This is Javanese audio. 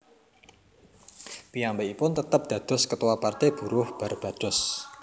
Piyambakipun tetep dados Ketua Partai Buruh Barbados